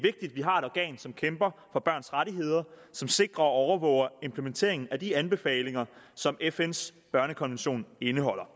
organ som kæmper for børns rettigheder og som sikrer og overvåger implementeringen af de anbefalinger som fns børnekonvention indeholder